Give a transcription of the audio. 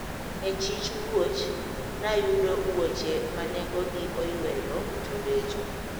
E chich wuoch, nayudo wuoche ma nengogi oyweyo to becho.